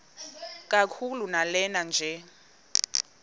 kakhulu lanela nje